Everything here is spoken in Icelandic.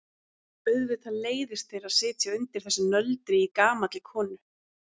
Auðvitað leiðist þér að sitja undir þessu nöldri í gamalli konu.